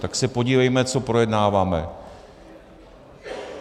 Tak se podívejme, co projednáváme.